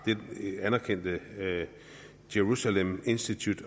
det anerkendte the jerusalem institute